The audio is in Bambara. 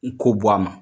Ko bɔ a ma